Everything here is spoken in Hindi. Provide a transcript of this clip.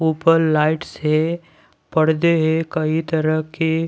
ऊपर लाइट्स है पर्दे है कई तरह के--